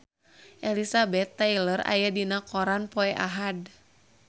Elizabeth Taylor aya dina koran poe Ahad